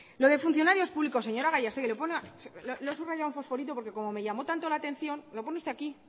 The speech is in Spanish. lo de funcionarios públicos señora gallastegui lo he subrayado en fosforito porque como me llamó tanto la atención lo pone usted aquí